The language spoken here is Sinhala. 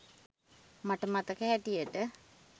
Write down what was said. මට මතක හැටියට